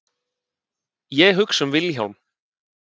Ég hugsa um Vilhjálm.